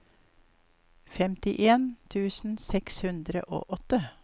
femtien tusen seks hundre og åtte